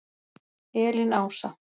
Elín Ása.